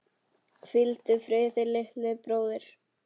Hvíldu friði, litli bróðir.